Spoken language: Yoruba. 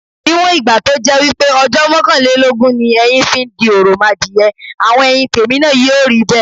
Níwọ̀n ìgbà to jẹ́ wípé ojó mókànlélógún ni eyin fi n di òròmadìye, àwon eyin tèmi náa yíò ríbè